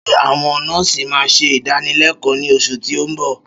Ṣé àwọn nọ́ọ̀sì ma ṣe ìdánilékòó ní oṣù tí o nbọ